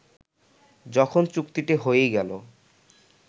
যখন চুক্তিটি হয়েই গেল